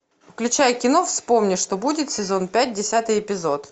включай кино вспомни что будет сезон пять десятый эпизод